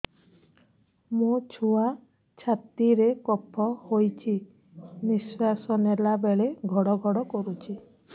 ମୋ ଛୁଆ ଛାତି ରେ କଫ ହୋଇଛି ନିଶ୍ୱାସ ନେଲା ବେଳେ ଘଡ ଘଡ କରୁଛି